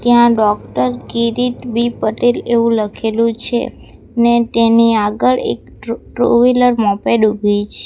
ત્યાં doctor Kirit B Patel એવું લખેલું છે ને તેની આગળ એક ટ્રુ ટુ વ્હીલર મોપેડ ઉભી છ--